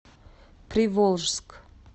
приволжск